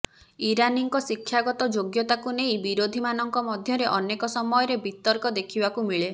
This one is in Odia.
ଇରାନୀଙ୍କ ଶିକ୍ଷାଗତ ଯୋଗ୍ୟତାକୁ ନେଇ ବିରୋଧୀମାନଙ୍କ ମଧ୍ୟରେ ଅନେକ ସମୟରେ ବିତର୍କ ଦେଖିବାକୁ ମିଳେ